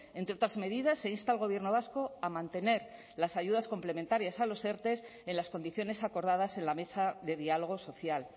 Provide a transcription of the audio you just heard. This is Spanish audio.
entre otras medidas se insta al gobierno vasco a mantener las ayudas complementarias a los erte en las condiciones acordadas en la mesa de diálogo social